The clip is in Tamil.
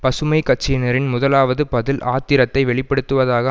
பசுமை கட்சியினரின் முதலாவது பதில் ஆத்திரத்தை வெளிப்படுத்துவதாக